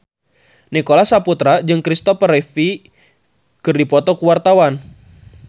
Nicholas Saputra jeung Christopher Reeve keur dipoto ku wartawan